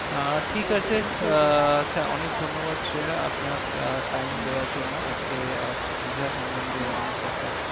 আহ ঠিক আছে আহ অনেক ধন্যবাদ সেরা আপনার time দেওয়ার জন্য আজকে আহ দীঘা সম্মন্ধে